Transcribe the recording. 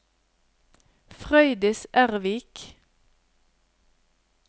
Frøydis Ervik